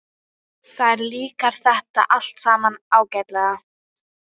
Þér líkar þetta allt saman ágætlega.